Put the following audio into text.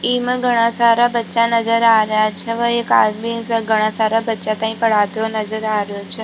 इमा घड़ा सारा बच्चा नजर आ रेहा छे व एक आदमी घड़ा सारा बच्चा तांई पढ़ाते हुए नजर आ रेहा छे।